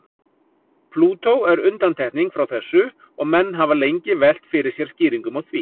Plútó er undantekning frá þessu og menn hafa lengi velt fyrir sér skýringum á því.